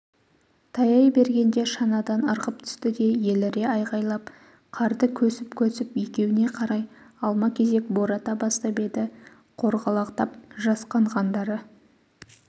таяй бергенде шанадан ырғып түсті де еліре айғайлап қарды көсіп-көсіп екеуіне қарай алма-кезек бората бастап еді қорғалақтап жасқанғандары